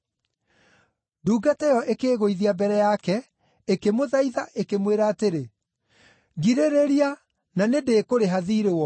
“Ndungata ĩyo ĩkĩĩgũithia mbere yake, ĩkĩmũthaitha, ĩkĩmwĩra atĩrĩ, ‘Ngirĩrĩria, na nĩndĩĩkũrĩha thiirĩ wothe.’